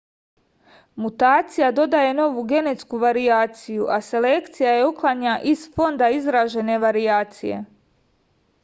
mutacija dodaje novu genetsku varijaciju a selekcija je uklanja iz fonda izražene varijacije